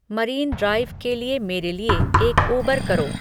marine Drive के लिए मेरे लिए एक उबर करो